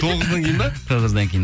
тоғыздан кейін ба тоғыздан кейін